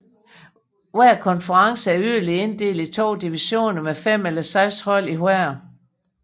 Hver konference er yderligere inddelt i to divisioner med fem eller seks hold i hver